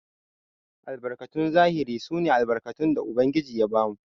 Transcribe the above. Albarkatun zahiri sune albarkatun da ubangiji ya bamu.